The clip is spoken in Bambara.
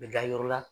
U bɛ da yɔrɔ la